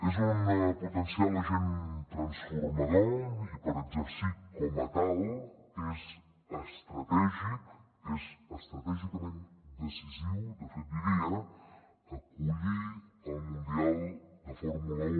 és un potencial agent transformador i per exercir com a tal és estratègic és estratègicament decisiu de fet diria acollir el mundial de fórmula un